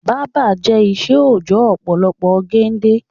Báábà jẹ ìṣe òojọ́ ọ̀pọ̀lọpọ̀ gende